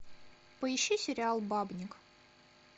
поищи сериал бабник